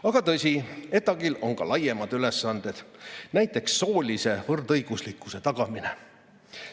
Aga tõsi, ETAg-il on ka laiemad ülesanded, näiteks soolise võrdõiguslikkuse tagamine.